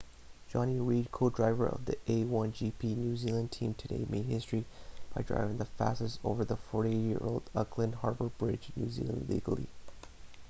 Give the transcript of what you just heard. jonny reid co-driver for the a1gp new zealand team today made history by driving the fastest over the 48-year-old auckland harbour bridge new zealand legally